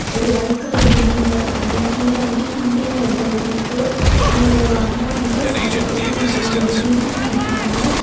ஒரு white colour பில்டிங்ல இருக்காங்க கீழ வண்ட்டு ஹிந்தில ஏதோ எழ்திருக்கு அங்க ஒரு ஒரு அம்மா வண்ட்டு சேரி கட்டிட்டு மேல அந்த பில்டிங் மேல நின்ட்ருக்காங்க.